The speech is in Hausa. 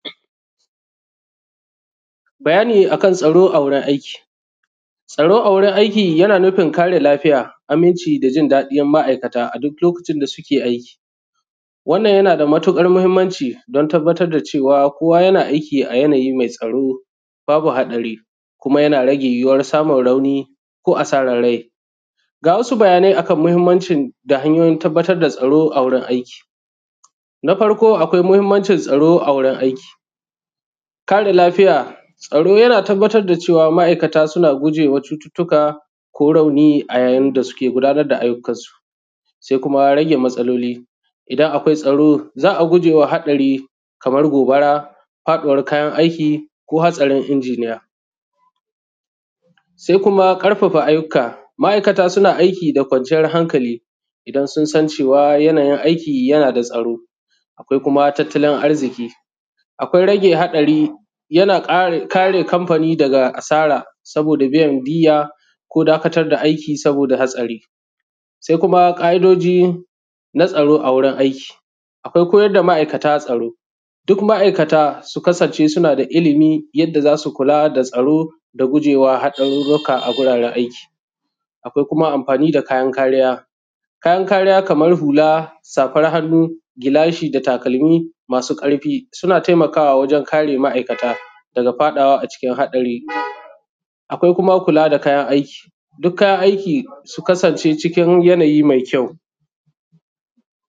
bayani akan tsaro: a wurin aiki tsaro a wurin aii yana nufin kare lafijya aminci da jin daɗin ma`aikata; a duk lokacin da suke aiki wannan yana da matuƙar mahimmanci don tabbatar da cewa kowa yana aikiˀa yanayi mai tsao babu haɗari kuma yana rage yuwuwar samun rauni ko asarar rai ga wasu bayanai akan mahimmancin da hanyoyin da tabbatar da tsaro a wurin aiki na farko akwai mahimmancin tsaro a wurin aiki kare lafiya tsaro ya tabbatar da cewa ma`aikata suna gujewa cututuka ko rauni a yayin da suke gudanar da aiyukan su sai kuma rage matsaloli idan akwai tsaro za`a gujewa haɗari kamar gobara faɗuwar kayan aiki ko haɗarin inginiya sa sai kuma karfafa aiyuka ma`aikata suna aiki da kwanciyar hankalI idan sun san cewa suna aiki da tsaro akwai kuma tattalin arziki akwai rage haɗari yana ƙara kare kamfani daga asara da biyan diya saboda haɗari ko dakatar da aiki saboda hatsari sai kuma ƙa`idoji na tsaro a wurin aiki akwai koyar da ma`aikata tsaro duk ma`aikata su kasance suna da ilimi yadda za su kula da tsaro da gujewa haɗaruruka a gurin aiki akwai kuma amfani da kayan kariya kayan kariya kaman hula safar hannu gilashi da takalmi masu karfi suna taimakawa wajen kare ma`aikata daga faɗawa a cikin haɗari akwai kuma kula da kayan aiki dukka kayan aiki su kasance: cikin yanajyi mai kyau